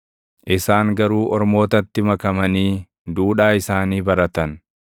isaan garuu ormootatti makamanii duudhaa isaanii baratan.